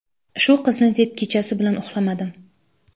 Shu qizni deb kechasi bilan uxlamadim.